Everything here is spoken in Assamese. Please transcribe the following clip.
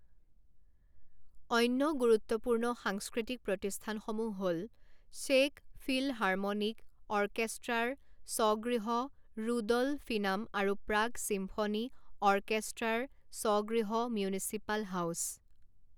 অন্য গুৰুত্বপূৰ্ণ সাংস্কৃতিক প্ৰতিষ্ঠানসমূহ হ'ল চে'ক ফিলহাৰ্মনিক অৰ্কেষ্ট্ৰাৰ স্বগৃহ ৰুড'লফিনাম আৰু প্ৰাগ চিম্ফনী অৰ্কেষ্ট্ৰাৰ স্বগৃহ মিউনিচিপাল হাউচ।